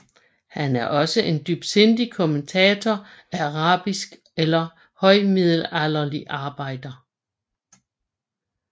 Han er også en dybsindig kommentator af arabiske eller højmiddelalderlige arbejder